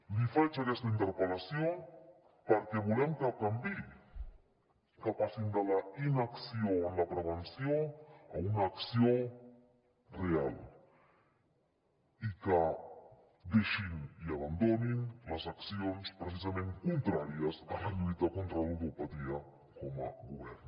li faig aquesta interpel·lació perquè volem que canviï que passin de la inacció en la prevenció a una acció real i que deixin i abandonin les accions precisament contràries a la lluita contra la ludopatia com a govern